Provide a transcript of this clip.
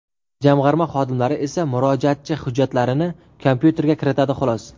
Jamg‘arma xodimlari esa murojaatchi hujjatlarini kompyuterga kiritadi, xolos.